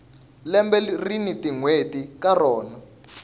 lembe rini tinwheti ka rona